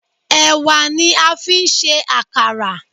Ẹ̀wà ni a fi ń ṣe àkàrà.